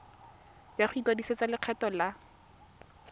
ya go ikwadisetsa lekgetho la